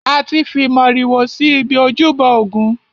A ti fi màrìwò si ibi ojúbọ ògún.